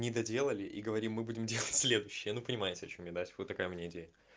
не доделали и говорим мы будем делать следующие ну понимаешь о чем я да вот такая у меня идея